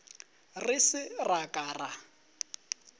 re se ra ka ra